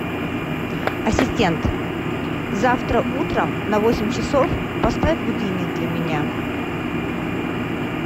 ассистент завтра утром на восемь часов поставь будильник для меня